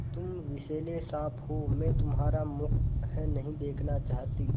तुम विषैले साँप हो मैं तुम्हारा मुँह नहीं देखना चाहती